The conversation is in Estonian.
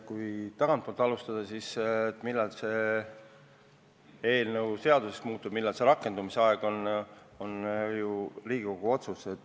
Kui tagantpoolt alustada, rääkida sellest, millal see eelnõu seaduseks muutub, millal selle rakendumise aeg on, siis see on ju Riigikogu otsus.